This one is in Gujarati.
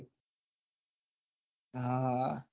હા હા